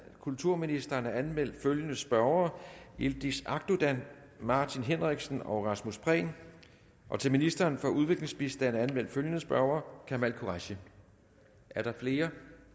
kulturministeren er anmeldt følgende spørgere yildiz akdogan martin henriksen rasmus prehn til ministeren for udviklingsbistand er der anmeldt følgende spørger kamal qureshi er der flere